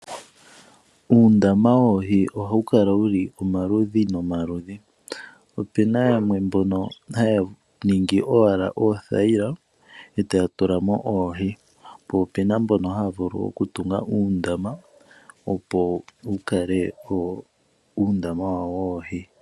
Uundama woohi ohayu kala wuli omaludhi nomaludhi , opena yamwe mbono haya ningi owala oothayila etaya tulamo oohi po ope na mbono haya vulu okutunga uundama opo wukale owo uundama wawo woohi